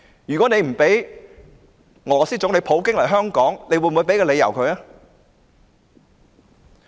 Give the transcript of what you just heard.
如他不准俄羅斯總理普京來港，又會否提供理由呢？